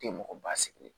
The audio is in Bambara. Tɛ mɔgɔ ba sigilen